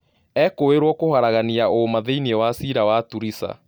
Ekũĩrwo kũharagania ũũma thĩinĩ wa ciira wa Turisa